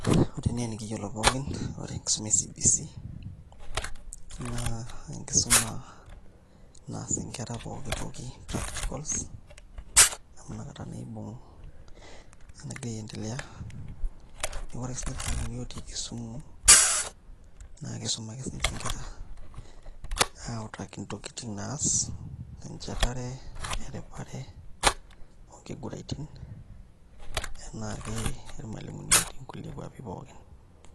Ore enaa enikiyiolo pookin ore enkisuma e CBC naa enkisuma naas nkera pooki toki practicals amu nakata naa iibung' enagira aiendelea, neeku ore ake siniche irmalimuni ootii Kisumu naa kiisum ake sininche nkera autaki ntokitin naas enchetare, eripare, onkiguraitin enaake irmalimuni ootii nkulie kuapi pookin.